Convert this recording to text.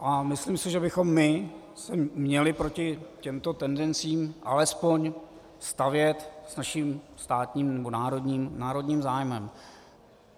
A myslím si, že bychom se my měli proti těmto tendencím alespoň stavět s naším státním nebo národním zájmem.